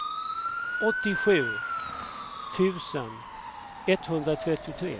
åttiosju tusen etthundratrettiotre